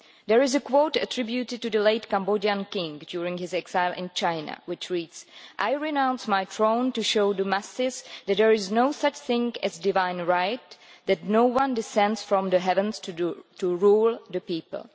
There is a quote attributed to the late Cambodian King during his exile in China which reads I renounce my throne to show the masses that there is no such thing as a divine right, that no one descends from the heavens to rule the people'.